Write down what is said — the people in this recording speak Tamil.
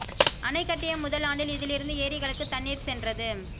அணை கட்டிய முதல் ஆண்டில் இதிலிருந்து ஏரிகளுக்கு தண்ணீர் சென்றது